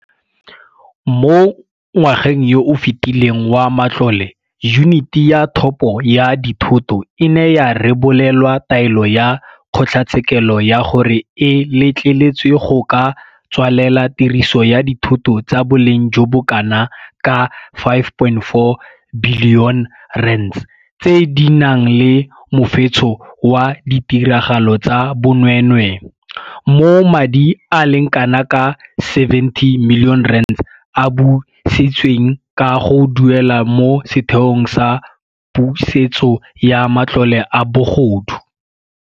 Mo ngwageng yo o fetileng wa matlole Yuniti ya Thopo ya Dithoto e ne ya rebolelwa taelo ya kgotlatshekelo ya gore e letleletswe go ka tswalela tiriso ya dithoto tsa boleng jo bo kanaka R5.4 bili one tse di nang le mofetsho wa ditiragalo tsa bonwee nwee, mo madi a le kana ka R70 milione a busitsweng ka go duelwa mo Setheong sa Pusetso ya Matlole a Bogodu.